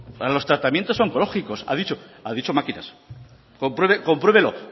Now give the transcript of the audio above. para los tratamientos oncológicos ha dicho a dicho máquinas compruébelo